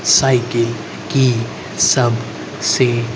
cycle की सब seat --